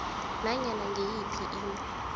nanyana ngiyiphi into